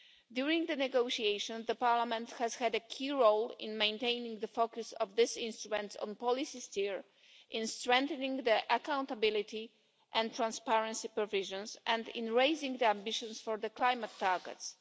During the negotiations, the Parliament has had a key role in maintaining the focus of this instrument on policy steer, in strengthening the accountability and transparency provisions, and in raising ambitions for the climate targets.